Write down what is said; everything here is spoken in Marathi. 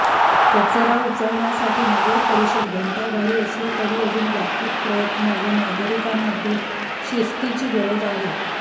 कचरा उचलण्यासाठी नगरपरिषद घंटागाडी असली तरी अजून व्यापक प्रयत्न व नागरिकांमध्ये शिस्तीची गरज आहे